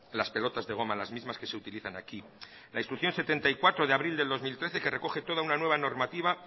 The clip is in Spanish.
las pelotas de goma las mismas que se utilizan aquí la instrucción setenta y cuatro de abril del dos mil trece que recoge toda una nueva normativa